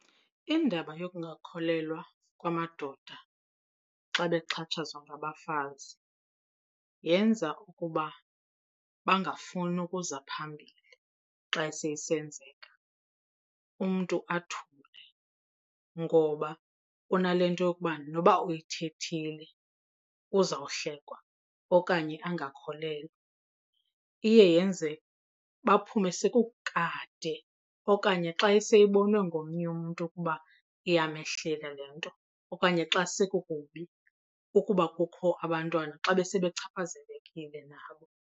Indaba yokungakholelwa kwamadoda xa bexhatshazwa ngabafazi yenza ukuba bangafuni ukuza phambili xa seyisenzeka, umntu athule ngoba unale nto yokuba noba uyithethile uzawuhlekwa okanye angakholelwa. Iye yenze baphume sekukade okanye xa seyibonwe ngomnye umntu ukuba iyamehlela le nto okanye xa sekukubi, ukuba kukho abantwana xa besebechaphazelekile nabo.